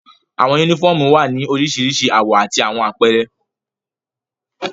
Awọn unifọmú wa ni oriṣiriṣi awọ ati awọn apẹrẹ